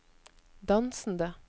dansende